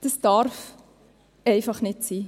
Das darf einfach nicht sein.